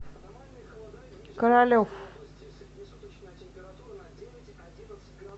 королев